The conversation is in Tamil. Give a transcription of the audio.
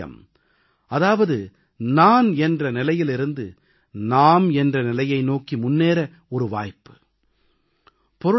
அஹ் சே வியம்ம் அதாவது நான் என்ற நிலையிலிருந்து நாம் என்ற நிலையை நோக்கி முன்னேற ஒரு வாய்ப்பு